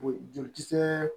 Joli kisɛɛ